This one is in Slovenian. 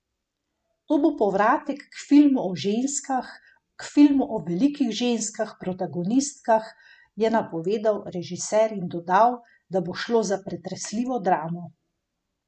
To bo povratek k filmu o ženskah, k filmu o velikih ženskih protagonistkah, je napovedal režiser in dodal, da bo šlo za pretresljivo dramo.